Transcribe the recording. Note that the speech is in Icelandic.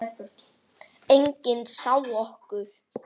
Enginn sá okkur.